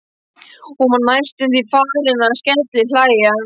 Hún var næstum því farin að skellihlæja.